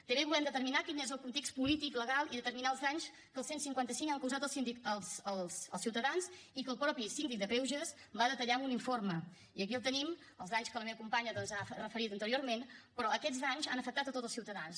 també volem determinar quin és el context polític legal i determinar els danys que el cent i cinquanta cinc ha causat als ciutadans i que el mateix síndic de greuges va detallar en un informe i aquí el tenim els danys que la meva companya doncs ha referit anteriorment però aquests danys han afectat tots els ciutadans